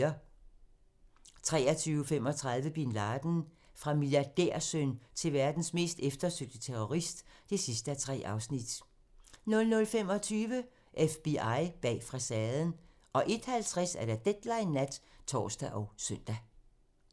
23:35: Bin Laden - Fra milliardærsøn til verdens mest eftersøgte terrorist (3:3) 00:25: FBI bag facaden 01:50: Deadline nat (tor og søn)